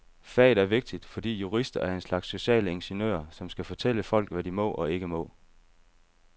Faget er vigtigt, fordi jurister er en slags sociale ingeniører, som skal fortælle folk, hvad de må og ikke må.